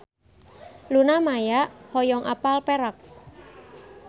Luna Maya hoyong apal Perak